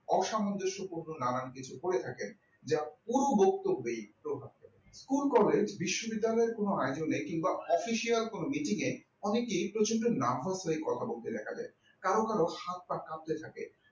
অসামঞ্জস্য পূর্ণ নানান কিছু করে থাকেন যা পুরো বক্তব্যই তো রাখেন school collage বিশ্ববিদ্যালয় কোন আচলে কিংবা official কোনো mitting এ অনেকে প্রচন্ড নার্ভাস হয়ে কথা বলতে দেখা যায় কারো কারো হাত পা কাঁপতে থাকে